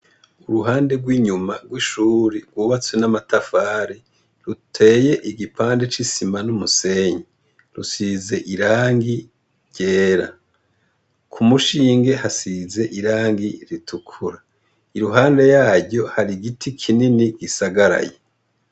Uruhande rw'inyuma rw'ishuri rwubatswe n'amatafari ruteye igipande c'isima n'umusenyi rusize irangi ryera ku mushinge hasize irangi ritukura iruhande yaryo hari giti kinini gisagaraye.